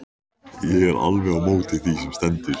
Ég er alveg á móti því sem stendur.